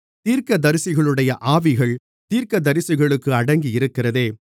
தீர்க்கதரிசிகளுடைய ஆவிகள் தீர்க்கதரிசிகளுக்கு அடங்கியிருக்கிறதே